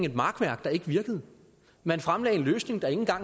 et makværk der ikke virkede man fremlagde en løsning der ikke